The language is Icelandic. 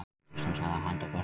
Íslandssaga handa börnum.